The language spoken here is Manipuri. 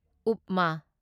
ꯎꯞꯃꯥ